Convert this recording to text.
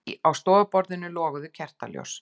Á stofuborðinu loguðu kertaljós.